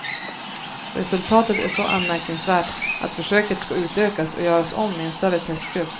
Resultatet är så anmärkningsvärt att försöket ska utökas och göras om i en större testgrupp.